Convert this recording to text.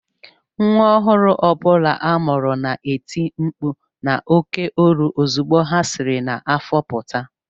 Nwa ọhụrụ ọ bụla a mụrụ na-eti mkpu n’oké olu ozugbo ha siri n’afọ pụta